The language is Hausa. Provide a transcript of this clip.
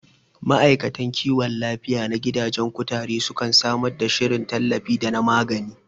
Ma'aikatan kiwon lafiya na gidajen kutare sukan samar da shirin tallafi da na magani